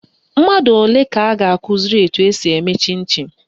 Mmadụ ole ka a ga-akụziri etu esi eme chịn chịn?